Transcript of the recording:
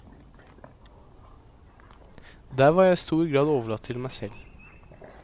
Der var jeg i stor grad overlatt til meg selv.